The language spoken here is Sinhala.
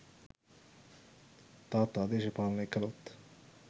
තාත්තා දේශපාලනය කළොත්